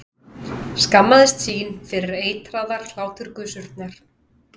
Skammaðist sín fyrir eitraðar hláturgusurnar.